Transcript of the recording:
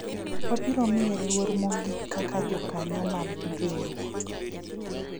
wabiro miye luor mogik kaka jokanyo mar riwruok